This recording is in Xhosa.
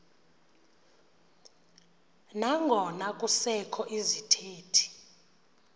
nangona kusekho izithethi